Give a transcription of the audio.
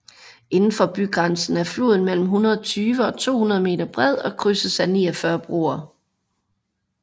Indenfor bygrænsen er floden mellem 120 og 200 meter bred og krydses af 49 broer